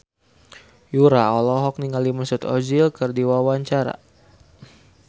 Yura olohok ningali Mesut Ozil keur diwawancara